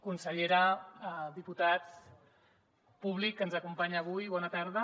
consellera diputats públic que ens acompanya avui bona tarda